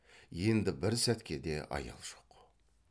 енді бір сәтке де аял жоқ